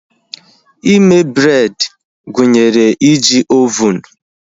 Ime bred gụnyere iji ovunu